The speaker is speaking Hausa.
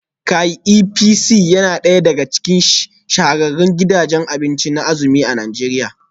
Kay Ep C yana daya daga cikin shahararrun gidajen abinci na azumi a Najeriya